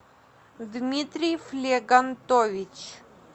дмитрий флегантович